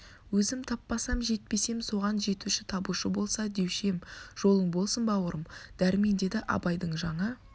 өзім таппасам жетпесем соған жетуші табушы болса деуші ем жолың болсын бауырым дәрмен деді абайдың жаңа